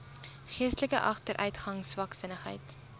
geestelike agteruitgang swaksinnigheid